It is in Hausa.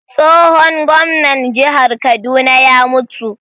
Tsohon gwamnan jihar Kaduna ya mutu